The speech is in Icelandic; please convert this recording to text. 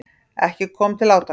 Ekki kom til átaka.